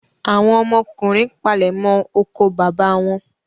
Àwọn ọmọkùnrin palẹ̀mọ́ oko bàbá wọn.